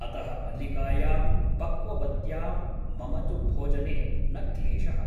अतः मल्लिकायां पक्ववत्यां मम तु भोजने न क्लेशः ।